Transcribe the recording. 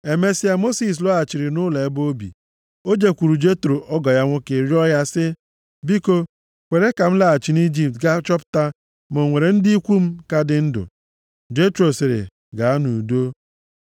Emesịa, Mosis lọghachiri nʼụlọ ebe o bi, jekwuru Jetro ọgọ ya nwoke rịọọ ya sị, “Biko kwere ka m laghachi nʼIjipt gaa chọpụta ma o nwere ndị ikwu m ka dị ndụ.” Jetro sịrị, “Gaa nʼudo.”